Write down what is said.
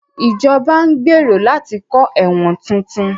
Ìjọba ń gbèrò láti kọ́ ẹ̀wọ̀n tuntun